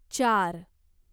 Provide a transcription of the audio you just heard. चार